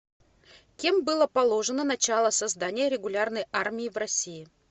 кем было положено начало создания регулярной армии в россии